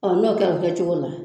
n'o bi kɛ a bi kɛ cogo la